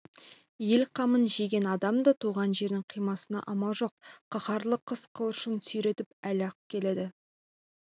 ел қамын жеген адам да туған жерін қимасына амалы жоқ қаһарлы қыс қылышын сүйретіп әлі-ақ келеді